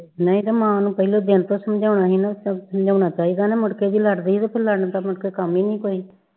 ਨਹੀਂ ਤੇ ਮਾਂ ਨੂੰ ਪਹਿਲੇ ਦਿਨ ਤੋਂ ਸਮਝਾਉਣਾ ਹੀ ਨਾ ਸਮਝਾਉਣਾ ਚਾਹੀਦਾ ਨਾ ਮੁੜਕੇ ਜੋ ਲੜਦੀ ਤੇ ਫਿਰ ਲੜਨ ਦਾ ਮੁੜਕੇ ਕੰਮ ਹੀ ਨਹੀਂ ਕੋਈ